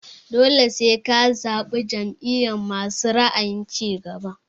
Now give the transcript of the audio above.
Dole sai ka zaɓi jam'iyar masu ra'ayin cigaba.